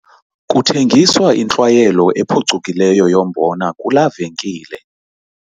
Kuthengiswa intlwayelo ephucukileyo yombona kulaa venkile.